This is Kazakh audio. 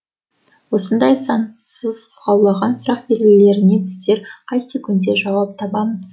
осындай сансыз қаулаған сұрақ белгілеріне біздер қай секундте жауап табамыз